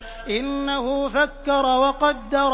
إِنَّهُ فَكَّرَ وَقَدَّرَ